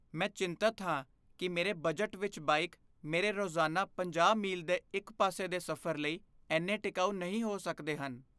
ਮੈਂ ਚਿੰਤਤ ਹਾਂ ਕੀ ਮੇਰੇ ਬਜਟ ਵਿੱਚ ਬਾਈਕ ਮੇਰੇ ਰੋਜ਼ਾਨਾ ਪੰਜਾਹ ਮੀਲ ਦੇ ਇੱਕ ਪਾਸੇ ਦੇ ਸਫ਼ਰ ਲਈ ਇੰਨੇ ਟਿਕਾਊ ਨਹੀਂ ਹੋ ਸਕਦੇ ਹਨ